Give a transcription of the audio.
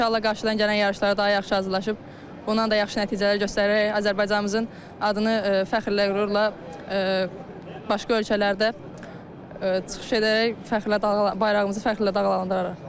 İnşallah qarşıdan gələn yarışlara daha yaxşı hazırlaşıb, bundan da yaxşı nəticələr göstərərək Azərbaycanımızın adını fəxrlə, qürurla başqa ölkələrdə çıxış edərək fəxrlə bayrağımızı fəxrlə dalğalandırarıq.